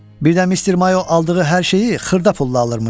Birdən Mister Mayo aldığı hər şeyi xırda pulla alırmış.